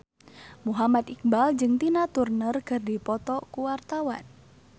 Muhammad Iqbal jeung Tina Turner keur dipoto ku wartawan